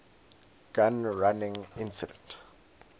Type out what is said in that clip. gun running incident